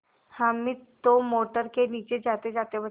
हामिद तो मोटर के नीचे जातेजाते बचा